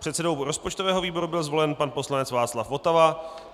předsedou rozpočtového výboru byl zvolen pan poslanec Václav Votava,